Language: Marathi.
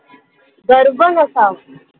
गर्व नसावा.